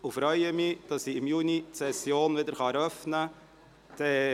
Ich freue mich, dass ich im Juni wieder die Session eröffnen darf.